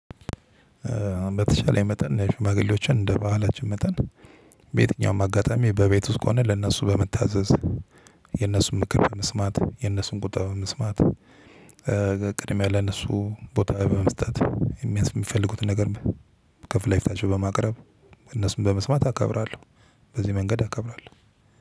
በተሻለኝ መጠን ሽማግሌዎችን እንደ ባህላችን መጠን በየትኛውም አጋጣሚ በቤት ውስጥ ከሆነ ለእነሱ በመታዘዝ የእነሱን ምክር በመስማት የእነሱን ቁጣ በመስማት ቅድሚያ ለነሱ ቦታ በመስጠት የሚያንስ የሚፈልጉትን ነገር ከፍ ላይ ፊታቸው በማቅረብ እነሱን በመስማት አከብራለሁ። በዚህ መንገድ አከብራለሁ።